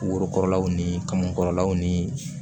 Worokɔrɔlaw ni kamankɔrɔlaw ni